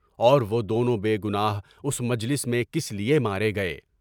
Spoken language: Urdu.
اور وہ دونوں بے گناہ اس مجلس میں کس لیے مارے گئے؟